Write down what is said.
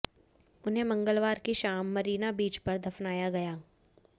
उन्हें मंगलवार की शाम मरीना बीच पर दफनाया गया